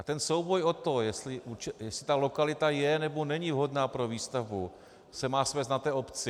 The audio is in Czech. A ten souboj o to, jestli ta lokalita je, nebo není vhodná pro výstavbu, se má svést na obci.